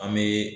An bɛ